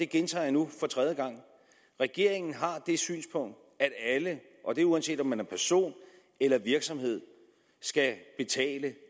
gentager nu for tredje gang at regeringen har det synspunkt at alle og det uanset om man er person eller virksomhed skal betale